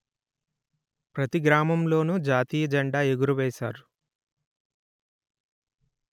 ప్రతిగ్రామంలోనూ జాతీయ జెండా ఎగురవేశారు